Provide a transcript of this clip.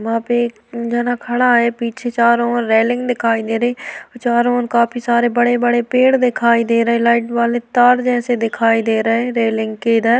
वहां पे एक जना खड़ा है। पीछे चारो ओर रेलिंग दिखाई दे रही। चारो ओर काफी सारे बड़े-बड़े पेड़ दिखाई दे रहे। लाइट वाले तार जैसे दिखाई दे रहे रेलिंग के इधर --